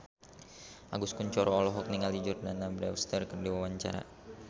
Agus Kuncoro olohok ningali Jordana Brewster keur diwawancara